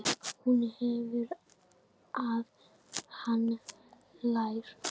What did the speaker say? Hún heyrir að hann hlær.